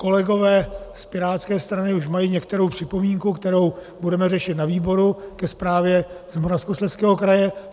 Kolegové z pirátské strany už mají některou připomínku, kterou budeme řešit na výboru, ke zprávě z Moravskoslezského kraje.